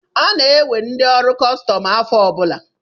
Ana-ewe ndị ọrụ kọstọm afọ ọ bụla.